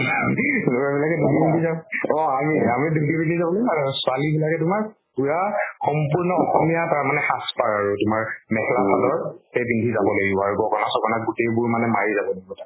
লʼৰা বিলাকে দুতি পিন্ধি যাম। অ আমি আমি ধুতি পিন্ধি যাম আৰু ছোৱালী বিলাকে তোমাৰ পুৱা সম্পূৰ্ণ অসমীয়া পাৰা মানে সাজ পাৰ আৰু তোমাৰ মেখেলা চাদৰ, সেই পিন্ধি যাব লাগিব। আৰু গগʼনা চগʼনা গোটেই বোৰ মানে মাৰি যাব লাগিব তাত।